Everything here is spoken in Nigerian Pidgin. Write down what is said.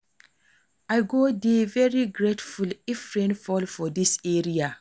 I go dey very grateful if rain fall for dis area